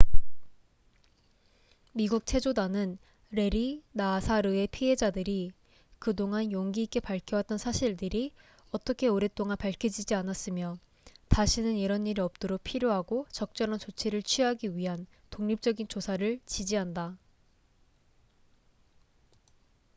미국 체조단은 래리 나사르의 피해자들이 그동안 용기 있게 밝혀왔던 사실들이 어떻게 오랫동안 밝혀지지 않았으며 다시는 이런 일이 없도록 필요하고 적절한 조치를 취하기 위한 독립적인 조사를 지지한다